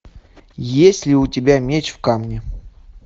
есть ли у тебя меч в камне